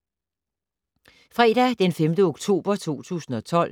Fredag d. 5. oktober 2012